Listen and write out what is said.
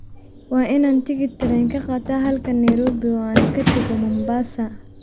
Waa inaan tigidh tareen ka qaataa halkan Nairobi oo aan ka tago Mombasa